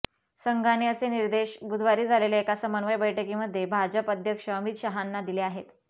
संघाने असे निर्देश बुधवारी झालेल्या एका समन्वय बैठकीमध्ये भाजप अध्यक्ष अमित शहांना दिले आहेत